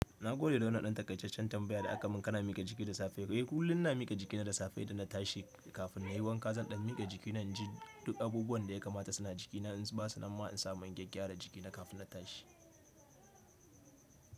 Na gode da wannan ɗan taƙaitaccen tambaya da aka min. Kana miƙa jiki da safe. Eh, kullum ina miƙa jikina da safe idan na tashi kafin na yi wanka. Zan ɗan miƙa jikina in ji duk abubuwan da ya kamata suna jikina. In ba su nan ma in samu in gyagyara jikina kafin na tashi.